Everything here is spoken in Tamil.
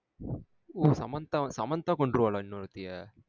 ஓ சமன்தா சமன்தா கொன்றுவாளா இன்னோர்த்திய?